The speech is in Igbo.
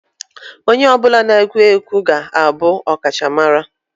Onye ọ bụla na-egwu egwu egwu ga-abụ ọkachamara